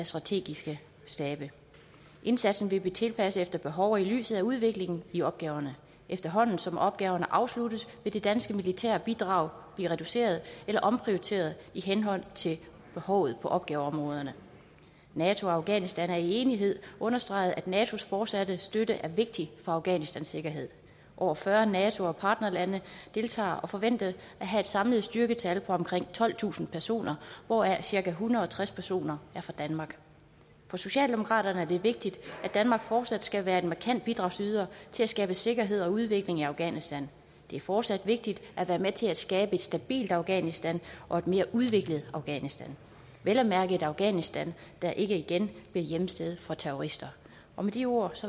strategiske stabe indsatsen vil blive tilpasset efter behov og i lyset af udviklingen i opgaverne efterhånden som opgaverne afsluttes vil det danske militære bidrag blive reduceret eller omprioriteret i henhold til behovet på opgaveområderne nato og afghanistan har i enighed understreget at natos fortsatte støtte er vigtig for afghanistans sikkerhed over fyrre nato og partnerlande deltager og forventes at have et samlet styrketal på omkring tolvtusind personer hvoraf cirka en hundrede og tres personer er fra danmark for socialdemokraterne er det vigtigt at danmark fortsat skal være en markant bidragyder til at skabe sikkerhed og udvikling i afghanistan det er fortsat vigtigt at være med til at skabe et stabilt afghanistan og et mere udviklet afghanistan vel at mærke et afghanistan der ikke igen bliver hjemsted for terrorister med de ord